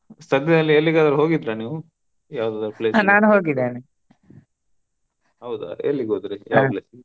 ಸದ್ಯದಲ್ಲಿ ಎಲ್ಲಿಗಾದ್ರೂ ಹೋಗಿದ್ರ ನೀವು? ಯವದದ್ರು ಹೌದಾ ಎಲ್ಲಿಗೋದ್ರಿ .